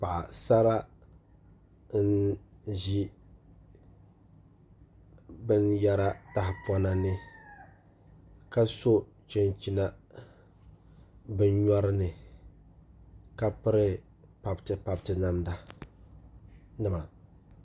Paɣasara n ʒi binyɛra tahapona ni ka so chinchina bi nyori ni ka piri pabiti pabiti namda nima